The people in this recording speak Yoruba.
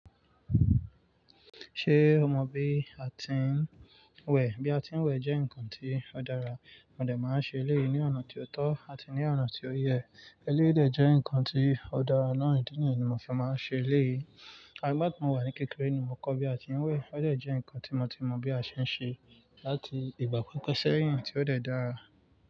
Ṣé o mọ bí a ti ń wẹ̀? Bí a ti ń wẹ̀ jẹ́ nǹkan tí ó dára, mo de máa ń ṣe eléyìí ní ọ̀nà tí ó tọ́ àti ní ọ̀nà tí ó yẹ. Eléyìí jẹ́ nǹkan tí ó dára náà, ìdí nìyí ni mo fi máa ń ṣe léyìí. Àgbà tí mo wà ní kékeré ni mo kọ́ bí a ti ń wẹ̀. Ó dà jẹ́ nǹkan tí mo ti mọ bí a ṣe ń ṣe láti ìgbà pípẹ́ sẹ́yìn tí ó dà dára.